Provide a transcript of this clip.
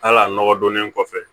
Hal'a nɔgɔ donnen kɔfɛ